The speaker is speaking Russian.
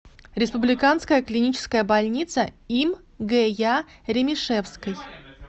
республиканская клиническая больница им гя ремишевской